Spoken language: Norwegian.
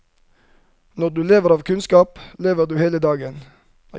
Når du lever av kunnskap, lever du av hele deg.